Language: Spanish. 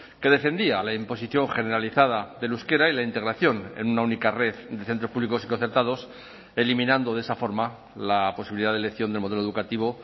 que defendía la imposición generalizada del euskera y la integración en una única red de centros públicos y concertados eliminando de esa forma la posibilidad de elección del modelo educativo